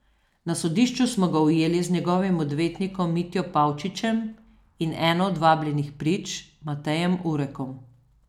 Na sodišču smo ga ujeli z njegovim odvetnikom Mitjo Pavčičem in eno od vabljenih prič, Matejem Urekom.